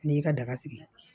N'i y'i ka daga sigi